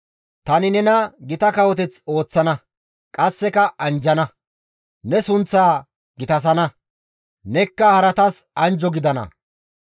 «Tani nena gita kawoteth ooththana; qasseka anjjana; Ne sunththaa gitasana; nekka haratas anjjo gidana.